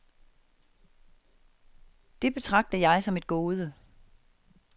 Det betragter jeg som et gode.